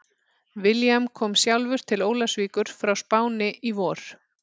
William kom sjálfur til Ólafsvíkur frá Spáni í vor.